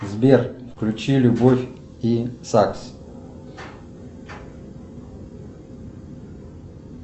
сбер включи любовь и сакс